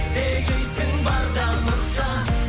дегейсің барда мұрша